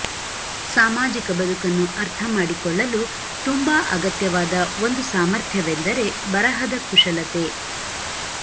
ಸಾಮಾಜಿಕ ಬದುಕನ್ನು ಅರ್ಥ ಮಾಡಿಕೊಳ್ಳಲು ತುಂಬಾ ಅಗತ್ಯವಾದ ಒಂದು ಸಾಮರ್ಥ್ಯವೆಂದರೆ ಬರಹದ ಕುಶಲತೆ